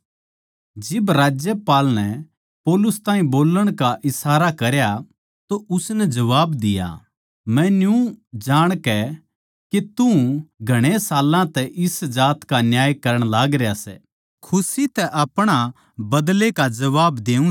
जिब राज्यपाल नै पौलुस ताहीं बोल्लण का इशारा करया तो उसनै जबाब दिया मै न्यू जाणकै के तू घणे साल्लां तै इस जात का न्याय करण लागरया सै खुशी तै अपणा बदले का जबाब देऊँ सूं